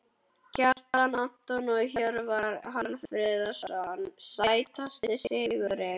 Kjartan Antons og Hjörvar Hafliðason Sætasti sigurinn?